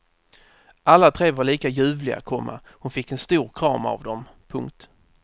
Alla tre var lika ljuvliga, komma hon fick en stor kram av dem. punkt